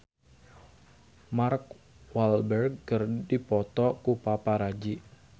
Mark Walberg dipoto ku paparazi